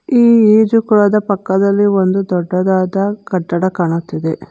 ಈ ಈಜುಕೊಳದ ಪಕ್ಕದಲ್ಲಿ ಒಂದು ದೊಡ್ಡದಾದ ಕಟ್ಟಡ ಕಾಣುತ್ತಿದೆ.